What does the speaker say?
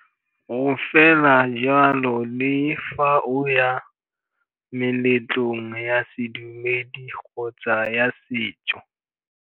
Go fela jalo le fa o ya meletlong ya sedumedi kgotsa ya setso.